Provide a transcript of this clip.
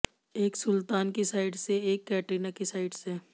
एक सुलतान की साइड से एक कैटरीना की साइड से